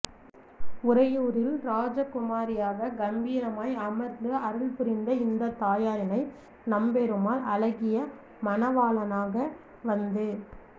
உறையூரில் இராஜகுமாரியாக கம்பீரமாய் அமர்ந்து அருள்புரிந்த இந்த தாயாரினை நம்பெருமாள் அழகிய மணவாளனாக வந்து